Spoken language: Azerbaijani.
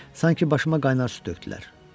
Sanki başıma qaynar su tökdülər.